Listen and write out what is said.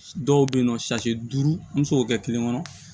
Dɔw bɛ yen nɔ duuru an bɛ se k'o kɛ kelen kɔnɔ